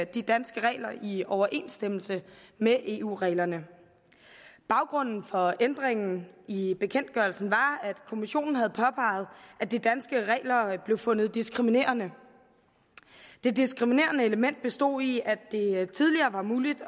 de danske regler i overensstemmelse med eu reglerne baggrunden for ændringen i bekendtgørelsen var at kommissionen havde påpeget at de danske regler blev fundet diskriminerende det diskriminerende element bestod i at det tidligere var muligt